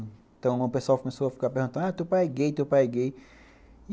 Então, o pessoal começou a ficar perguntando, ah, teu pai é gay, teu pai é gay.